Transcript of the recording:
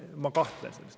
Ma kahtlen.